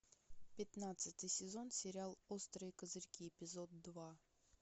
пятнадцатый сезон сериал острые козырьки эпизод два